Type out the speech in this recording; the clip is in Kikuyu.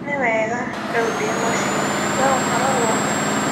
Nĩ wega, rĩu ndĩ mũciĩ. Wee ũkoragwo kũ?